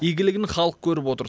игілігін халық көріп отыр